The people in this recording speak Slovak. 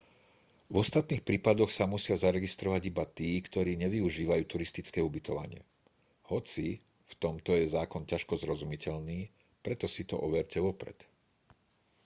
v ostatných prípadoch sa musia zaregistrovať iba tí ktorí nevyužívajú turistické ubytovanie hoci v tomto je zákon ťažko zrozumiteľný preto si to overte vopred